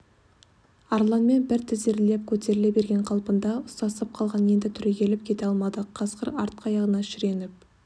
арланмен бір тізерлеп көтеріле берген қалпында ұстасып қалған енді түрегеліп кете алмады қасқыр артқы аяғына шіреніп